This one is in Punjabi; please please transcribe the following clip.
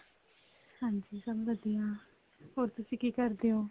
ਹਾਂਜੀ ਸਭ ਵਧੀਆ ਹੋ ਤੁਸੀਂ ਕੀ ਕਰਦੇ ਓ